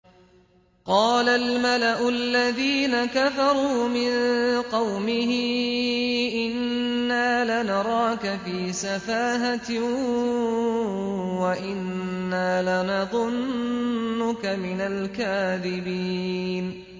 قَالَ الْمَلَأُ الَّذِينَ كَفَرُوا مِن قَوْمِهِ إِنَّا لَنَرَاكَ فِي سَفَاهَةٍ وَإِنَّا لَنَظُنُّكَ مِنَ الْكَاذِبِينَ